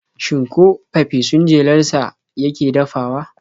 Shin ko fafesun jelar sa yake dafawa?